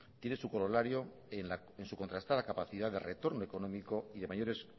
tiene su corolario en su contrastada capacidad de retorno económico y de mayores